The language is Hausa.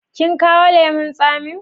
Kin kawo lemun tsamin?